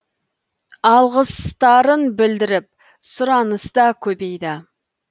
алғыстарын білдіріп сұраныс та көбейді